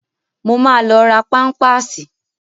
Mo ma lọ ra páḿpásì